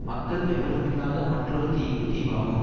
மக்கள் எவருமில்லாத மற்றொரு தீவு தீவாகும்